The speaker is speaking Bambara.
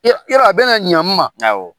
Yɔ yɔrɔ a bɛna ɲa n ma, awɔ.